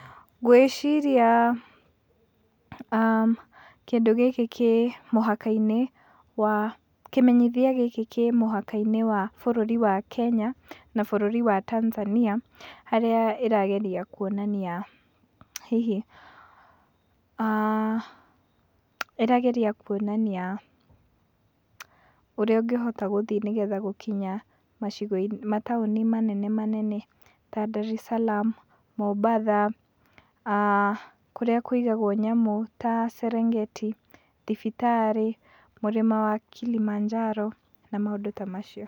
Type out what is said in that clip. Ngwĩciria kĩndũ gĩkĩ kĩ mũhaka-inĩ wa, kĩmenyithia gĩkĩ kĩ mũhaka-inĩ wa Kenya na bũrũri wa Tanzania harĩa ĩrageria kuonania hihi, ĩrageria kuonania ũrĩa ũngĩhota gũthiĩ nĩ getha gũkinya mataũni manene manene ta Ndariceramu, Mombatha, kũrĩa kũigagwo nyamũ ta Serengeti, thibitarĩ, mũrĩma wa Kilimanjaro na maũndũ ta macio.